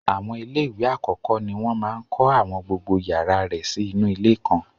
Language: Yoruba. Àwọn ilé ìwé àkọ́kọ́ ni wọ́n máa ń kọ́ àwọn gbogbo yàrá rẹ̀ sí inú ilé kan.